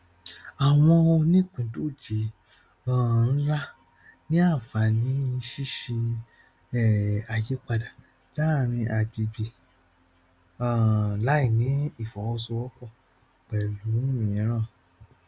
àwọn onípìndòjé um ńlá ní àǹfààní ṣíṣe um àyípadà láàrin agbègbè um láìní ìfọwọsowọpọ pẹlú mìíràn